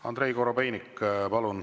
Andrei Korobeinik, palun!